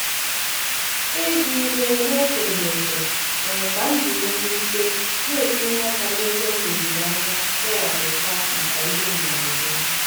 ịzụ ihe n'echeghị echiche mere ka m jiri mwute na-etinye aka n'ego m leziri anya kewapụta maka ihe mberede.